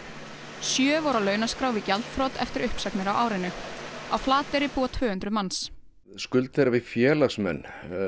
sjö voru á launaskrá við gjaldþrot eftir uppsagnir á árinu á Flateyri búa tvö hundruð manns skuld þeirra við félagsmenn